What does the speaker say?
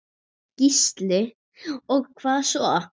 Gísli: Og hvað svo?